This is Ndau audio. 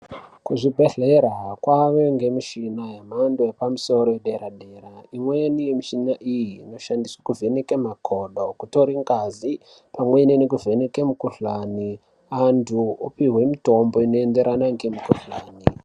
Kuzvibhedhlera kwave nemichina yemhando yepamusoro yedera dera. Imweni yemishina iyi inoshandiswe kuvheneke makodo, kutore ngazi pamwe nekuvheneke mukhuhlani. Antu opihwe mitombo inoenderana ngemikhuhlani